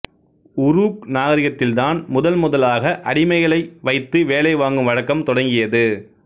Uruk நாகரிகத்தில் தான் முதன் முதலாக அடிமைகளை வைத்து வேலை வாங்கும் வழக்கம் தொடங்கியது